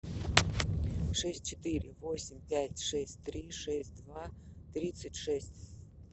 шесть четыре восемь пять шесть три шесть два тридцать шесть